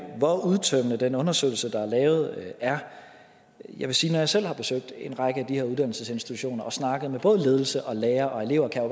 hvor udtømmende den undersøgelse der er lavet er jeg vil sige at når jeg selv har besøgt en række af de her uddannelsesinstitutioner og snakket med både ledelse og lærere og elever kan